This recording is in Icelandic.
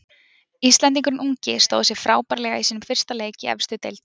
Íslendingurinn ungi stóð sig frábærlega í sínum fyrsta leik í efstu deild.